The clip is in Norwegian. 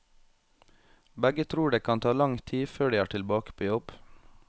Begge tror det kan ta lang tid før de er tilbake på jobb.